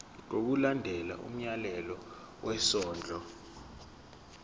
ngokulandela umyalelo wesondlo